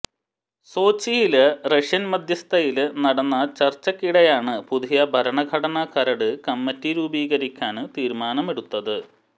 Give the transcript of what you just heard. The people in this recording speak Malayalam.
സോച്ചിയില് റഷ്യന് മധ്യസ്ഥതയില് നടന്ന ചര്ച്ചക്കിടെയാണ് പുതിയ ഭരണഘടന കരട് കമ്മറ്റി രുപീക്കാന് തീരുമാനമെടുത്തത്